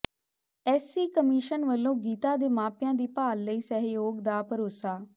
SC commission ਵਲੋਂ ਗੀਤਾ ਦੇ ਮਾਪਿਆਂ ਦੀ ਭਾਲ ਲਈ ਸਹਿਯੋਗ ਦਾ ਭਰੋਸਾ